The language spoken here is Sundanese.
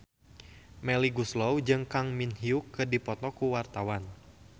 Melly Goeslaw jeung Kang Min Hyuk keur dipoto ku wartawan